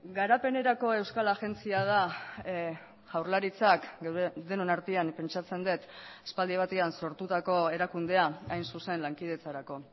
garapenerako euskal agentzia da jaurlaritzak denon artean pentsatzen dut aspaldi batean sortutako erakundea hain zuzen lankidetzarako